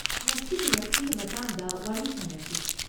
ꯉꯁꯤꯗꯤ ꯃꯁꯤꯒꯤ ꯃꯇꯥꯡꯗ ꯋꯥꯔꯤ ꯁꯥꯅꯁꯤ꯫